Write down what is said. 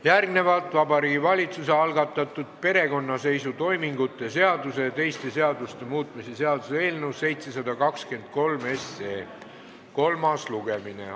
Järgnevalt Vabariigi Valitsuse algatatud perekonnaseisutoimingute seaduse ja teiste seaduste muutmise seaduse eelnõu 723 kolmas lugemine.